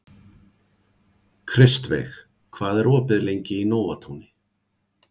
Kristveig, hvað er opið lengi í Nóatúni?